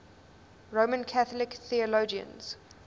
roman catholic theologians